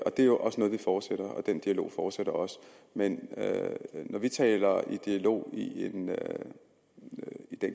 og det er også noget vi fortsætter den dialog fortsætter også men når vi taler om dialog i den